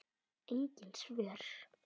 Engin svör.